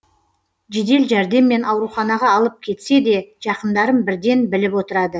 жедел жәрдеммен ауруханаға алып кетсе де жақындарым бірден біліп отырады